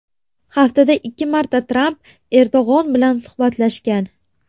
Haftada ikki marta Tramp Erdo‘g‘on bilan suhbatlashgan.